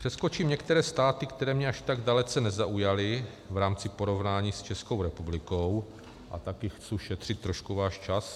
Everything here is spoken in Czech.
Přeskočím některé státy, které mě až tak dalece nezaujaly v rámci porovnání s Českou republikou, a taky chci šetřit trošku váš čas.